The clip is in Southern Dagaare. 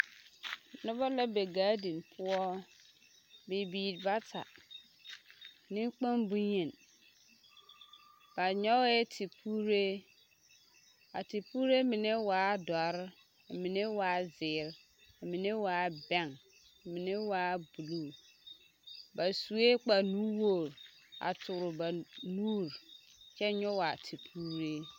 Nobɔ la be gaadin poɔ, bibiiri bata neŋkpoŋ bonyeni, ba nyɔgɛɛ tepuure, a tepuure mine waa dɔre, k'a mine waa zeere, k'a mine waa bɛŋ, k'a mine waa buluu, ba sue kpare nu-wogiri a toore ba nuuri kyɛ nyɔge a tepuure.